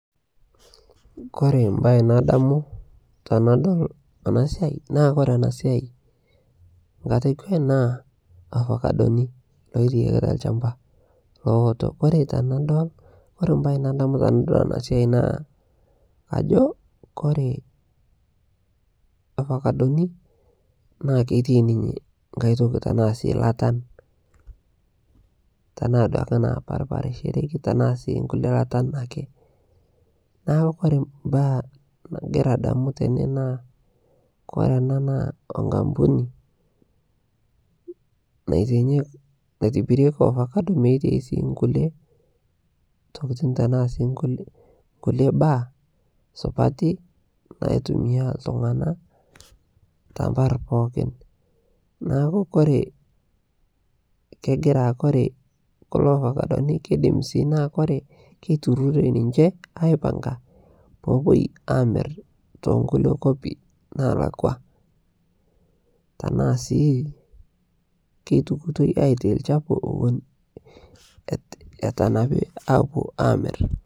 Ovacodoni loitayaki te lshambaa, kore sii ntokii nadamu tenee naa nkampunii naitibiriekii nkulie masaa naimuu ovacodonii tanaa latan endakii, keitukii sii aitai lchapuu